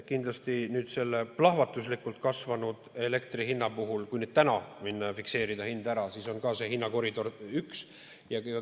Kindlasti selle plahvatuslikult kasvanud elektri hinna puhul, kui täna minna ja fikseerida hind ära, on see hinnakoridor üks.